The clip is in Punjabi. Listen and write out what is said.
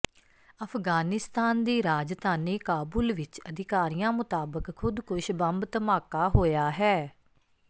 ਅਫ਼ਗਾਨਿਸਤਾਨ ਦੀ ਰਾਜਧਾਨੀ ਕਾਬੁਲ ਵਿੱਚ ਅਧਿਕਾਰੀਆਂ ਮੁਤਾਬਕ ਖੁਦਕੁਸ਼ ਬੰਬ ਧਮਾਕਾ ਹੋਇਆ ਹੈ